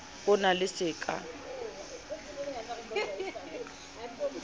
ho na le se ka